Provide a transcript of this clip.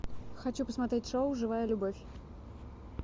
хочу посмотреть шоу живая любовь